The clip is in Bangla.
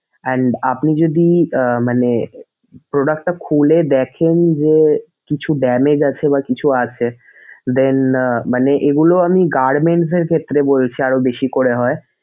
and আপনি যদি আহ মানে product টা খুলে দেখেন যে কিছু damage আছে বা কিছু আছে then মানে এগুলো আমি garments ক্ষেত্রে বলছি আরো বেশি করে হয়